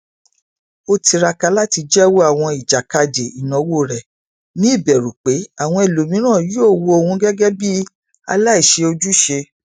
ó tiraka láti jẹwọ àwọn ìjàkadì ìnáwó rẹ ní ìbẹrù pé àwọn ẹlòmíràn yóò wo òun gẹgẹ bí aláìṣe ojúṣe